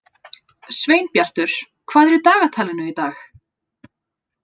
Sveinbjartur, hvað er í dagatalinu í dag?